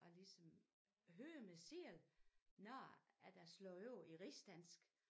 At ligesom høre mig selv når at jeg slår over i rigsdansk